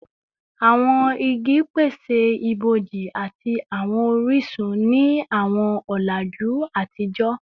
Awọn igi pese iboji ati awọn orisun ni awọn ọlaju atijọ